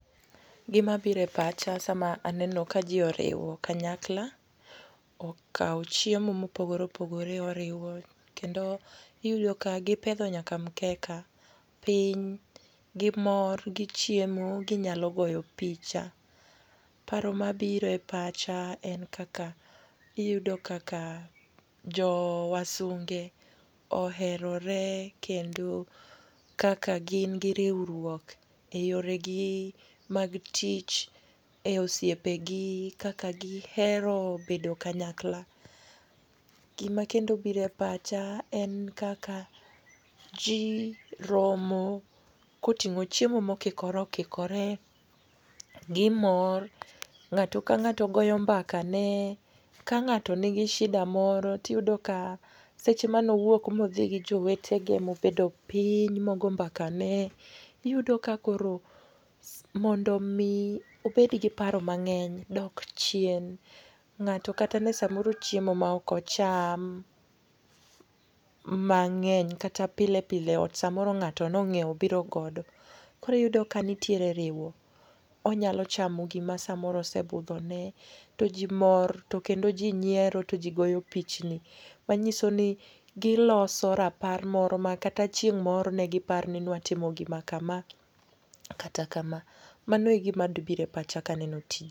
Gima biro e pacha sama aneno ka ji oriwo kanyakla, okawo chiemo ma opogore opogore oriwo, kendo iyudo ka gipedho nyaka mkeka piny. Gimor, gichiemo, ginyalo goyo picha. Paro mabiro e pacha en kaka iyudo kaka jo wasunge oherore, kendo kaka gin gi riwruok e yore gi mag tich, e osiepe gi kaka gihero bedo kanyakla. Gima kendo biro e pacha en kaka, ji romo koting'o chiemo ma okikore okikore. Gimor. Ng'ato ka ng'ato goyo mbakane. Ka ng'ato nigi shida moro tiyudo ka seche mane owuok ma odhi gi jowetene ma obedo piny, ma ogoyo mbaka ne. Iyudo ka koro mondo omi obed gi paro mang'eny dok chien. Ng'ato kata ne samoro chiemo ema ok acham mang'eny, kata pile pile ot, samoro ng'ato ne onyiewo obiro godo. Koro iyudo ka nitiere riwo. Onyalo chamo gima samoro osebudho ne. To ji mor, to kendo ji nyiero, to ji goyo pichni[. Manyiso ni giloso rapar moro ma kata chieng' moro negipar ni newatimo gima kama, kata kama. Mano e gima biro e pacha ka aneno tijni.